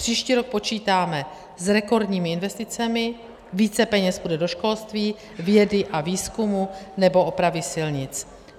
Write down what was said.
Příští rok počítáme s rekordními investicemi, více peněz půjde do školství, vědy a výzkumu nebo opravy silnic.